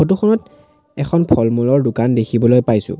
কাষত এখন ফল-মূলৰ দোকান দেখিবলৈ পাইছোঁ।